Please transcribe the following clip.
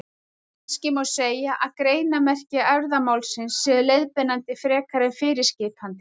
Kannski má segja að greinarmerki erfðamálsins séu leiðbeinandi frekar en fyrirskipandi.